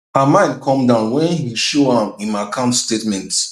her mind come down when he show am im account statements